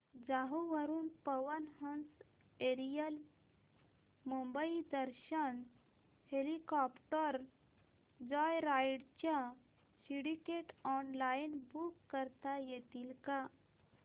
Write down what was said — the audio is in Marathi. जुहू वरून Pawan Hans aerial Mumbai Darshan helicopter joyride च्या सीट्स ऑनलाइन बुक करता येतील का